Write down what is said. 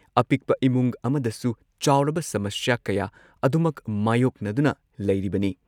ꯑꯄꯤꯛꯄ ꯏꯃꯨꯡ ꯑꯃꯗꯁꯨ ꯆꯥꯎꯔꯕ ꯁꯃꯁ꯭ꯌꯥ ꯀꯌꯥ ꯑꯗꯨꯃꯛ ꯃꯥꯌꯣꯛꯅꯗꯨꯅ ꯂꯩꯔꯤꯕꯅꯤ ꯫